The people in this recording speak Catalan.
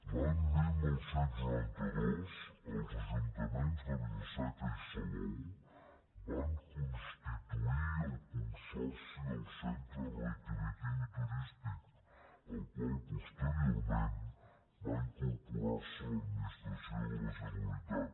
l’any dinou noranta dos els ajuntaments de vila seca i salou van constituir el consorci del centre recreatiu i turístic al qual posteriorment va incorporar se l’administració de la generalitat